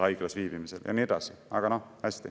Aga hästi!